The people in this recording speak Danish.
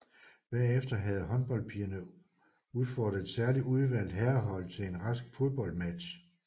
Bagefter havde håndholdpigerne udfordret et særligt udvalgt herrehold til en rask fodboldmatch